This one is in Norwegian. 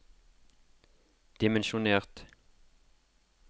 dimensjonert